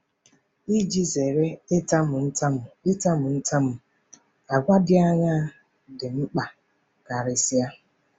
Iji zere ịtamu ntamu ịtamu ntamu, àgwà dị aṅaa dị mkpa karịsịa?